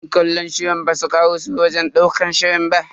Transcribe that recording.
Yan kallon shirin basu karaso wajen ɗaukar shirin ba.